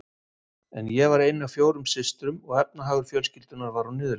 En ég var ein af fjórum systrum og efnahagur fjölskyldunnar var á niðurleið.